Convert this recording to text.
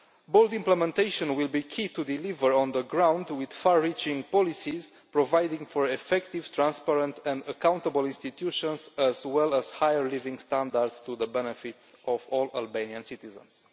Bold implementation will be key to delivering on the ground, with far reaching policies providing for effective, transparent and accountable institutions as well as higher living standards for the benefit of all Albanian citizens.